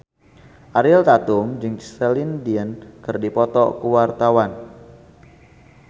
Ariel Tatum jeung Celine Dion keur dipoto ku wartawan